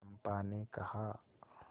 चंपा ने कहा